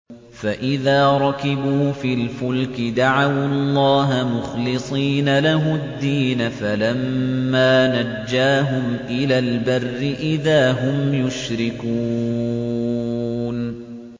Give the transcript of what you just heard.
فَإِذَا رَكِبُوا فِي الْفُلْكِ دَعَوُا اللَّهَ مُخْلِصِينَ لَهُ الدِّينَ فَلَمَّا نَجَّاهُمْ إِلَى الْبَرِّ إِذَا هُمْ يُشْرِكُونَ